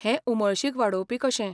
हें उमळशीक वाडोवपी कशें.